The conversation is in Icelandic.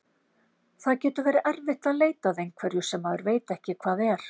Það getur verið erfitt að leita að einhverju sem maður veit ekki hvað er!